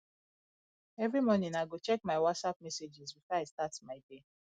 every morning i go check my whatsapp messages before i start my day